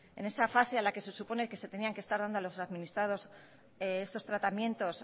en esa fase a la que se supone que se tenían que estar dando a los administrados estos tratamientos